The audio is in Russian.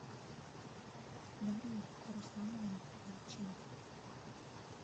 дарью руслановну дьяченко